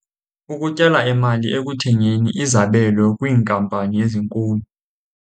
Ukutyala imali ekuthengeni izabelo kwiinkampani ezinkulu.